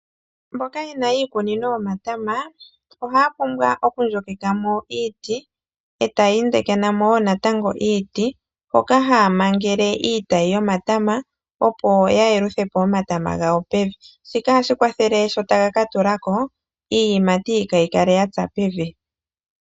Mboka yena iikunino yomatama, ohaya pumbwa okudhika mo iiti, etaya tulamo natango iiti hoka taya mangele iitayi yomatama, opo ya yeluthe po omatama gawo pevi. Shika ohashi kwathele sho taya ka tulako, iiyimati kaayi kale yatsa pevi.